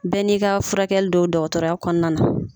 Bɛɛ n'i ka furakɛli do dɔgɔtɔrɔya kɔnɔna na.